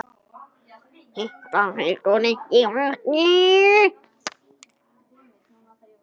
Þetta heldur ekki vatni.